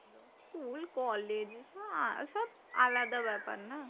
School college আর সব আলাদা ব্যাপার না?